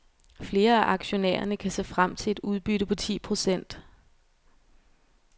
Flere af aktionærerne kan se frem til et udbytte på ti procent.